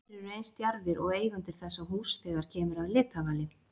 fáir eru eins djarfir og eigendur þessa húss þegar kemur að litavali